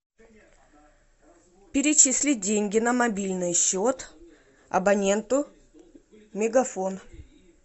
перечислить деньги на мобильный счет абоненту мегафон